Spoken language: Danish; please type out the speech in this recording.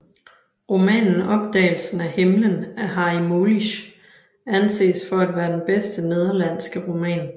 Romanen Opdagelsen af himlen af Harry Mulisch anses for at være den bedste nederlandske roman